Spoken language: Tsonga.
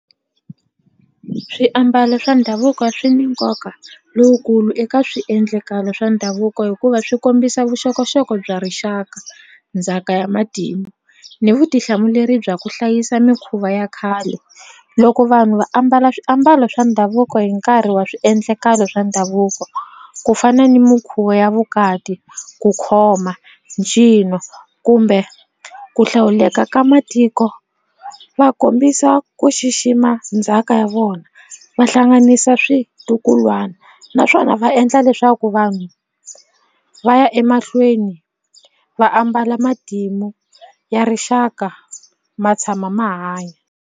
Swiambalo swa ndhavuko swi ni nkoka lowukulu eka swiendlakalo swa ndhavuko hikuva swi kombisa vuxokoxoko bya rixaka ndzhaka ya matimu ni vutihlamuleri bya ku hlayisa mikhuva ya khale loko vanhu va ambala swiambalo swa ndhavuko hi nkarhi wa swiendlakalo swa ndhavuko ku fana ni minkhuva ya vukati ku khoma ncino kumbe ku hlawuleka ka matiko va kombisa ku xixima ndzhaka ya vona va hlanganisa switukulwana naswona va endla leswaku vanhu va ya emahlweni va ambala matimu ya rixaka ma tshama ma hanya.